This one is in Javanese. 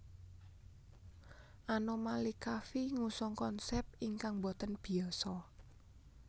Anomali Coffee ngusung konsep ingkang mboten biasa